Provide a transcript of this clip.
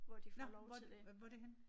Nåh hvor hvor er det henne?